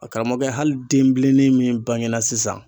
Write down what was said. Karamɔgɔkɛ hali denbilennin min bange na sisan